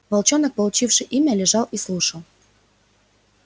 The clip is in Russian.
волчонок получивший имя лежал и слушал